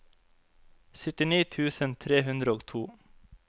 syttini tusen tre hundre og to